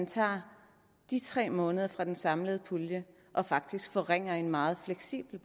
tager de tre måneder fra den samlede pulje og faktisk forringer en meget fleksibel